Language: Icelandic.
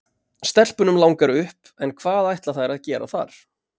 Stelpunum langar upp en hvað ætla þær að gera þar?